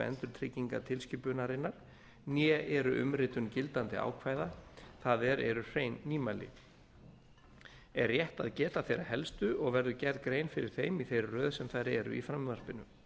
endurtryggingatilskipunarinnar né eru umritun gildandi ákvæða það er eru hrein nýmæli er rétt að geta þeirra helstu og verður grein gerð fyrir þeim í þeirri röð sem þær eru í frumvarpinu